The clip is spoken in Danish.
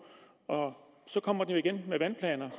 og så kommer den jo igen med vandplanerne